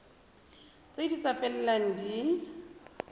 tse di sa felelang di